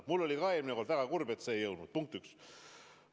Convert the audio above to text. Ma olin ka eelmine kord väga kurb, et see ei jõudnud arutlusele.